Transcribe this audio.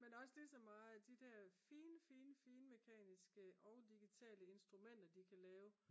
men det er også lige så meget at de der fine mekaniske og digitale instrumenter de kan lave